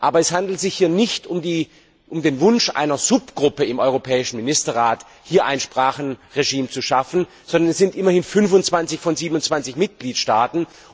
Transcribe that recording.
Aber es handelt sich hier nicht um den Wunsch einer Untergruppe im europäischen Ministerrat, hier ein Sprachenregime zu schaffen, sondern es sind immerhin 25 von 27 Mitgliedstaaten.